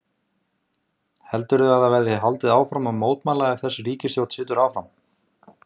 Þórhildur: Heldurðu að það verði haldið áfram að mótmæla ef að þessi ríkisstjórn situr áfram?